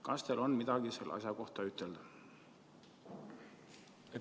Kas teil on midagi selle asja kohta ütelda?